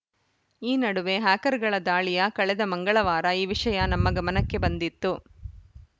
ಈ ನಡುವೆ ಹ್ಯಾಕರ್‌ಗಳ ದಾಳಿಯ ಕಳೆದ ಮಂಗವಾರ ಈ ವಿಷಯ ನಮ್ಮ ಗಮನಕ್ಕೆ ಬಂದಿತ್ತು